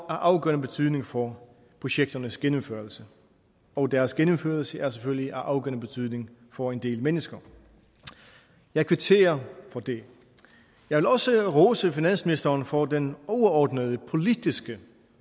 afgørende betydning for projekternes gennemførelse og deres gennemførelse er selvfølgelig af afgørende betydning for en del mennesker jeg kvitterer for det jeg vil også rose finansministeren for den overordnede politiske